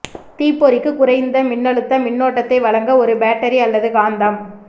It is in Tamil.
தீப்பொறிக்கு குறைந்த மின்னழுத்த மின்னோட்டத்தை வழங்க ஒரு பேட்டரி அல்லது காந்தம்